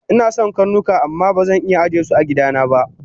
Inason karnuka amma bazan iya ajesu agidana ba